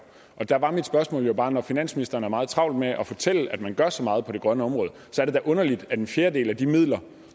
og der var mit spørgsmål bare når finansministeren har meget travlt med at fortælle at man gør så meget på det grønne område så er det da underligt at en fjerdedel af de midler